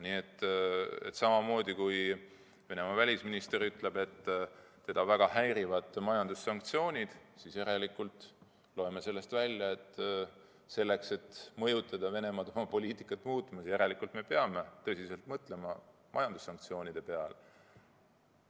Nii et kui Venemaa välisminister ütleb, et teda väga häirivad majandussanktsioonid, siis loeme sellest välja, et järelikult selleks, et mõjutada Venemaad oma poliitikat muutma, peame tõsiselt mõtlema majandussanktsioonide peale.